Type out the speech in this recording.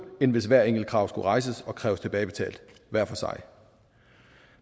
end hvis hvert enkelt krav skulle rejses og kræves tilbagebetalt hver for sig